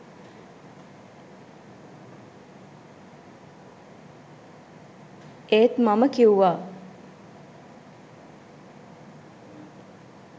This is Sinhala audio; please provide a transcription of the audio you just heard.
ඒත් මම කිව්වා